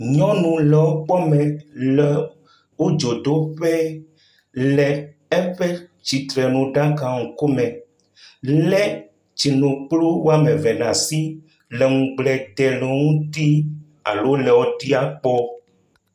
Nyɔnu le eƒe kpɔ me le wo dzodoƒe le eƒe tsitrenuɖaka ŋkume, lé tsinukplu woame ve ɖe asi le ŋugble dem le wo ŋuti alo le wo ɖiaa kpɔ.